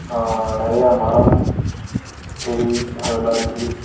அ நெறைய மரம் செடி அதெல்லா இருக்கு.